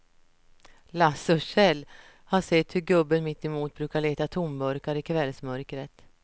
Lasse och Kjell har sett hur gubben mittemot brukar leta tomburkar i kvällsmörkret.